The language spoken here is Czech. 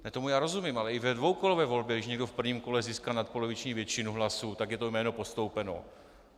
Tomu já rozumím, ale i ve dvoukolové volbě, když někdo v prvním kole získá nadpoloviční většinu hlasů, tak je to jméno postoupeno.